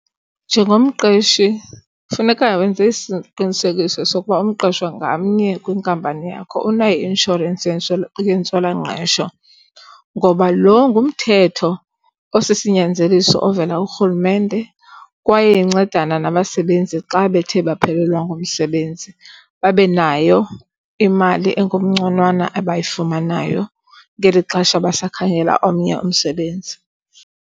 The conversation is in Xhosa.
Njengomqeshi funeka wenze isiqinisekiso sokuba umqeshwa ngamnye kwinkampani yakho unayo i-inshorensi yentswelangqesho ngoba lo ngumthetho osisinyanzeliso ovela kuRhulumente. Kwaye incedana nabasebenzi xa bethe baphelelwa ngumsebenzi, babe nayo imali engumnconanwa abayifumanayo ngeli xesha basakhangela omnye umsebenzi.